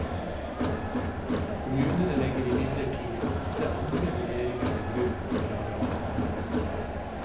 Kommunene legger imidlertid ofte andre vurderinger til grunn for arealplanleggingen.